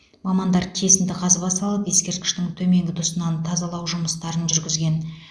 мамандар кесінді қазба салып ескерткіштің төменгі тұсынан тазалау жұмыстарын жүргізген